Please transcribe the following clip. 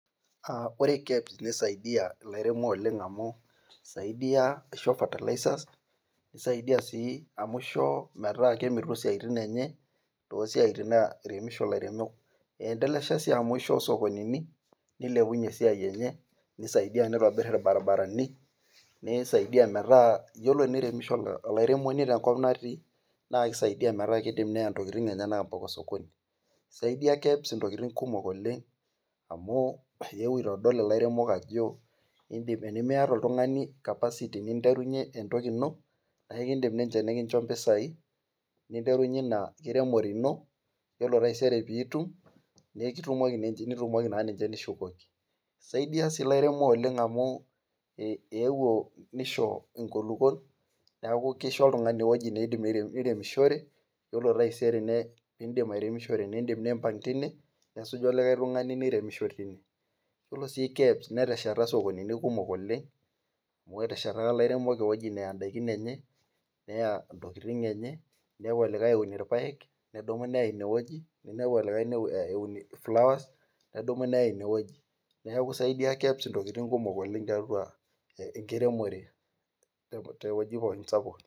Ore kebs nisaidia ilairemok oleng amu, isaidia aisho fertilizers nisaidia sii amu ishoo, metaa kemitu siatin enye. toosiatin nairemisho ilairemok. eendelesha sii amu ishoo sokonini. nilepunye esiai, enye, nitobir ilbarinarani. nisaidia metaa, yiolot eneiremisho olairemoni te nkop natii naa kisidai, metaa keya neya ntokitin enyenak mpaka osokoni. isaidia kebs ntokitin kumok oleng amu eewuo aitodolu ilaremok Ajo enimiata oltungani capacity ninterunye. entoki ino naa ekidim ninche nikincho mpisai, ninterunye Ina nkiremore ino. orw taisere pee itum, neekotumoki ninche. nitumoki naa . isaidia sii ilairemok oleng amu eewuo nisho enkulupuoni neeku kisho oltungani ewueji niidim niremishore. ore taisere nidim nimpang' tine, nesuju olikae tungani niremisho tine. yiollo sii kebs netwsheta sokonini kumok oleng. oteshataka ilairemok ewueji neya ntokitin enye. inepu olikae eunito irpaek nedumu neya ine wueji. ninepu olikae eunoto flowers nedumu neya ine wueji. neeku isaidia kebs ntokitin tiatua, enkiremore te wueji sapuk.